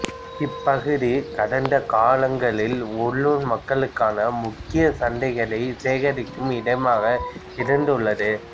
இப்பகுதி கடந்த காலங்களில் உள்ளூர் மக்களுக்கான முக்கிய சந்தைகள் சேகரிக்கும் இடமாக இருந்துள்ளது